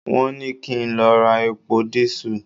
Won ni ki n lo ra epo diesel